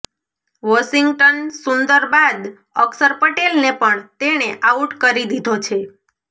Washington Sundar બાદ અક્ષર પટેલને પણ તેણે આઉટ કરી દીધો છે